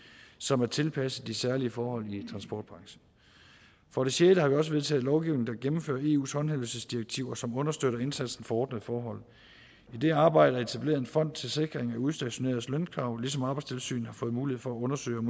som er tilpasset de særlige forhold i transportbranchen for det sjette har vi også vedtaget lovgivning der gennemfører eus håndhævelsesdirektiv og som understøtter indsatsen for ordnede forhold i det arbejde er der etableret en fond til sikring af udstationeredes lønkrav ligesom arbejdstilsynet har fået mulighed for at undersøge om